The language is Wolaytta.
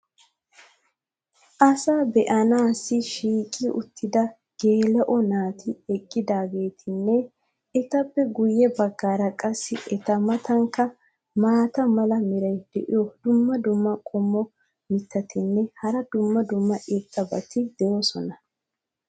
Asasaa baanaassi shiiqi uttida geela'o naati eqqidaagetinne etappe guye bagaara qassi eta matankka maata mala meray diyo dumma dumma qommo mitattinne hara dumma dumma irxxabati de'oosona.